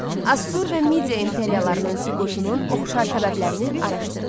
Assur və Midiya imperiyalarının süqutunun oxşar səbəblərini araşdırın.